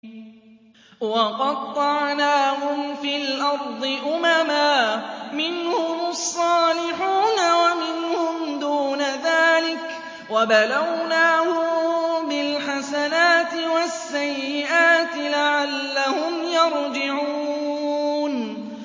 وَقَطَّعْنَاهُمْ فِي الْأَرْضِ أُمَمًا ۖ مِّنْهُمُ الصَّالِحُونَ وَمِنْهُمْ دُونَ ذَٰلِكَ ۖ وَبَلَوْنَاهُم بِالْحَسَنَاتِ وَالسَّيِّئَاتِ لَعَلَّهُمْ يَرْجِعُونَ